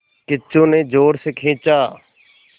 किच्चू ने ज़ोर से खींचा